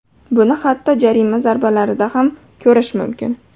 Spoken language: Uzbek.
Buni hatto jarima zarbalarida ham ko‘rish mumkin.